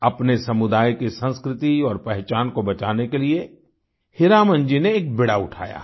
अपने समुदाय की संस्कृति और पहचान को बचाने के लिए हीरामन जी ने एक बीड़ा उठाया है